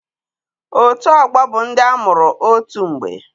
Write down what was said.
Otù ọgbọ bụ ndị amụrụ otù mgbe